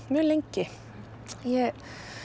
mjög lengi ég